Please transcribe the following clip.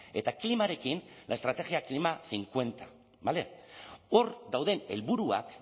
eta klimarekin la estrategia klima cincuenta bale hor dauden helburuak